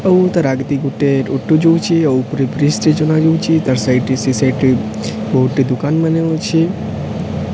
ଆଉ ତାର୍ ଆଗଦି ଗୋଟେ ଅଟୋ ଯଉଚେ। ଆଉ ଉପରେ ବ୍ରିଜ ଟେ ଚଲା ଯଉଚେ। ତାର ସାଇଟ୍ ରେ ସେ ସାଇଟ୍ ରେ ବୋହୁତ୍ ଟେ ଦୋକାନ ମାନେ ଅଛେ।